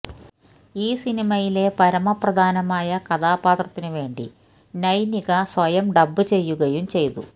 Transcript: ഈ സിനിമയിലെ പരമപ്രധാനമായ കഥാപാത്രത്തിനുവേണ്ടി നൈനിക സ്വയം ഡബ്ബ് ചെയ്യുകയും ചെയ്തു